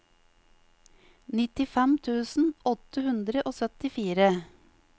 nittifem tusen åtte hundre og syttifire